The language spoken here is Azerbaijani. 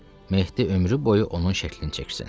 Mehdi ömrü boyu onun şəklini çəksin.